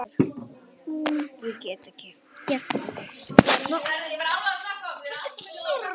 Við upphaf styrjaldar var Tímanum vandara um hlutleysið en oftast áður.